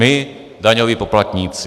My, daňoví poplatníci.